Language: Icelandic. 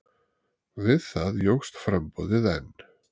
Við það jókst framboðið enn.